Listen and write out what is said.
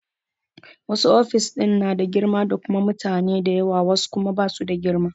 Wasu ofis ɗin na da girma da kuma mutane da yawa wasu kuma ba su da girma.